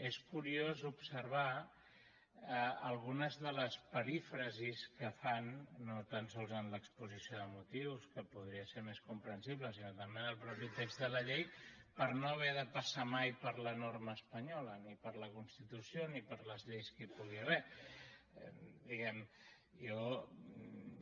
és curiós observar algunes de les perífrasis que fan no tan sols en l’exposició de motius que podria ser més comprensible sinó també en el mateix text de la llei per no haver de passar mai per la norma espanyola ni per la constitució ni per les lleis que hi pugui haver diguem ne